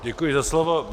Děkuji za slovo.